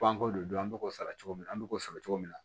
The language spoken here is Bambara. Panko de do an bɛ k'o sara cogo min na an bɛ k'o sɔrɔ cogo min na